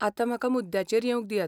आतां म्हाका मुद्द्याचेर येवंक दियात.